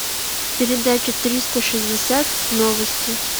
передача триста шестьдесят новости